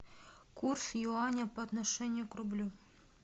курс юаня по отношению к рублю